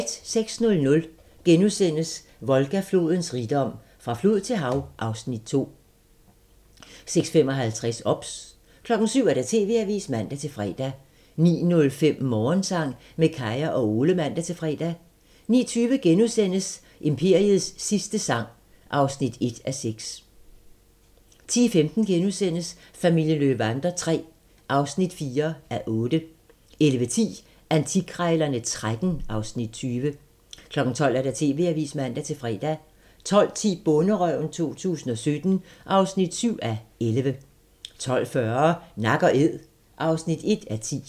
06:00: Volga-flodens rigdom: Fra flod til hav (Afs. 2)* 06:55: OBS 07:00: TV-avisen (man-fre) 09:05: Morgensang med Kaya og Ole (man-fre) 09:20: Imperiets sidste sang (1:6)* 10:15: Familien Löwander III (4:8)* 11:10: Antikkrejlerne XIII (Afs. 20) 12:00: TV-avisen (man-fre) 12:10: Bonderøven 2017 (7:11) 12:40: Nak & Æd (1:10)